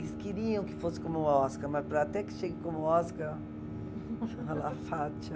Eles queriam que fosse como o Oscar, mas para até que chegue como Oscar... Fátia!